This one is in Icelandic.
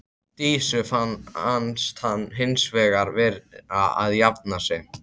Dísu fannst hann hins vegar vera að jafna sig.